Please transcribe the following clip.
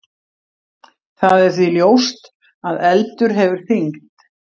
Það er því ljóst að eldur hefur þyngd.